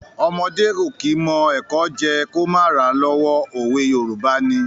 Ọmọdé ò kí mọ ẹ̀kọ jẹ́ ẹ kó má ra lọ́wọ́. òwe Yorùbá ni.